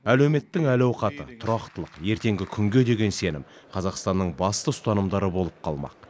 әлеуметтің әл ауқаты тұрақтылық ертеңгі күнге деген сенім қазақстанның басты ұстанымдары болып қалмақ